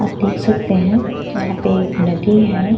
आप देख सकते हैं यहां पे एक नदी है।